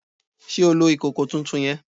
Sé o lo ìkòkò tuntun yen?